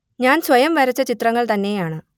ഞാൻ സ്വയം വരച്ച ചിത്രങ്ങൾ തന്നെയാണ്